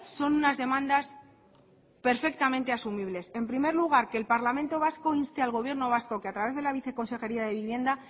son unas demandas perfectamente asumibles en primer lugar que el parlamento vasco inste al gobierno vasco que a través de la viceconsejería de vivienda